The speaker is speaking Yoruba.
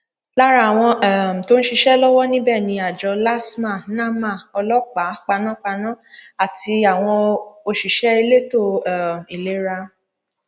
lára àwọn um tó ń ń ṣiṣẹ lọwọ níbẹ ni àjọ lasema nama ọlọpàá panápaná àti àwọn òṣìṣẹ elétò um ìlera